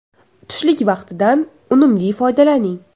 Tushlik vaqtidan unumli foydalaning!